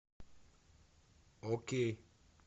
окей